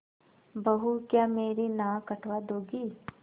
बहू क्या मेरी नाक कटवा दोगी